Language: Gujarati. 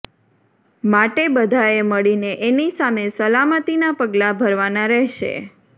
માટે બધાએ મળીને એની સામે સલામતીના પગલાં ભરવાના રહેશે